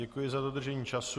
Děkuji za dodržení času.